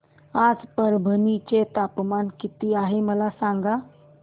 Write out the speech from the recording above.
आज परभणी चे तापमान किती आहे मला सांगा